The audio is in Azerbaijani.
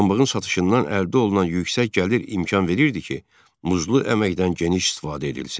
Pambığın satışından əldə olunan yüksək gəlir imkan verirdi ki, muzlu əməkdən geniş istifadə edilsin.